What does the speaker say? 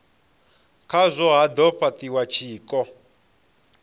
khazwo ha do fhatiwa tshiko